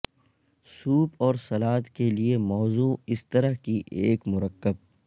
soup اور salad کے لئے موزوں اس طرح کی ایک مرکب